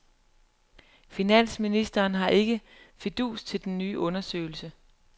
Finansministeren har ikke fidus til den nye undersøgelse.